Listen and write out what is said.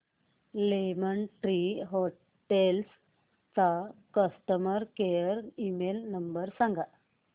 lemon Tree Hotels चा customer care email number सांगा